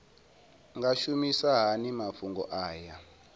nga shumisa hani mafhumgo aya